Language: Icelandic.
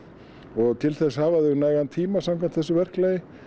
og til þess hafa þau nægan tíma samkvæmt þessu verklagi